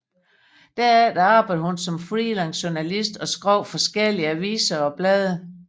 Derefter arbejdede hun som freelance journalist og skrev for forskellige aviser og blade